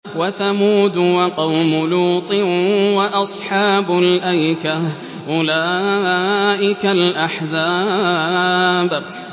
وَثَمُودُ وَقَوْمُ لُوطٍ وَأَصْحَابُ الْأَيْكَةِ ۚ أُولَٰئِكَ الْأَحْزَابُ